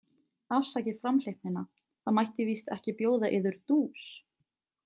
Afsakið framhleypnina, það mætti víst ekki bjóða yður dús?